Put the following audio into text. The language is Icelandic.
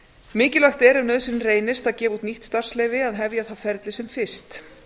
mikilvægt er ef nauðsyn reynist að gefa út nýtt starfsleyfi að hefja það ferli sem fyrst